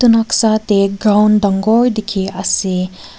noksa tae ground dangor dikhiase.